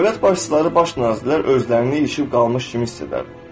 Dövlət başçıları, baş nazirlər özlərini ilişib qalmış kimi hiss edər.